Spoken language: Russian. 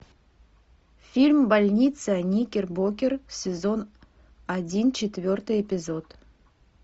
фильм больница никер бокер сезон один четвертый эпизод